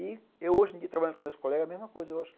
E eu hoje, trabalhando com meus colegas, a mesma coisa. Eu acho que